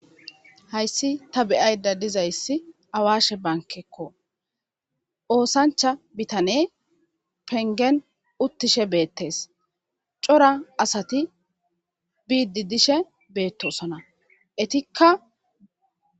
hayssi ta beyayda dizayssi awashe bankekko oosancha bitane pengen uttishe beettes cora asati biidi dishe beettosona etikka